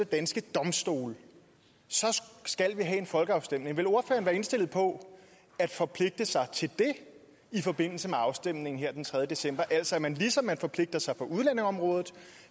danske domstole så skal vi have en folkeafstemning vil ordføreren indstillet på at forpligte sig til det i forbindelse med afstemningen her den tredje december altså til at man ligesom man forpligter sig på udlændingeområdet